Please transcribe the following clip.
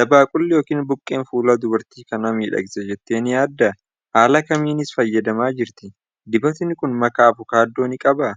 Dabaaqulli yookiin buqqeen fuula dubartii kana miidhagsa jettee ni yaaddaa? Haala kamiinis fayyadamaa jirti? Dibatni kun makaa avokaadoo ni qabaa?